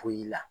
Foyi la